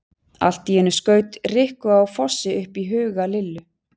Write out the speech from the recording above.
Allt í einu skaut Rikku á Fossi upp í huga Lillu.